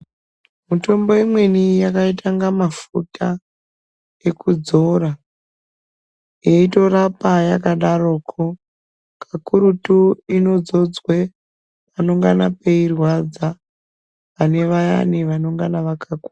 Mitombo imweni yakaita kunga mafuta ekudzora yeitorapa yakadarokwo kakurutu inodzodzwe panengana peirwadza pane vayani vanenge vaka.